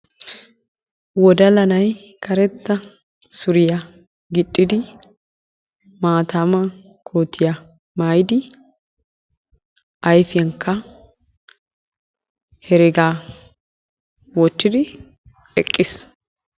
Wodala nay karetta suriyaa gixxidi maatama koottiya maayidi ayfiyaankka heregaa wottidi eqqiis.